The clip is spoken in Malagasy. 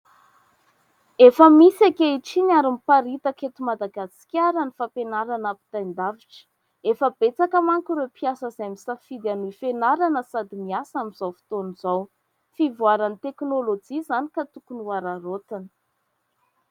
Efa misy ankehitriny ary miparitaka eto Madagasikara ny fampianarana ampitain-davitra. Efa betsaka manko ireo mpiasa izay misafidy hanohy fianarana sady miasa amin'izao fotoana izao. Fivoaran'ny teknôlôjia izany ka tokony hohararaotina.